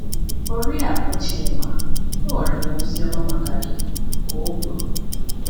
“Oriakụ Chima, enwere m ozi ọma maka gị,” ka o kwuru.